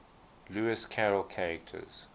lewis carroll characters